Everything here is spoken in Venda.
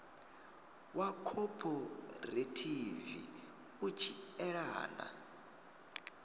wa khophorethivi u tshi elana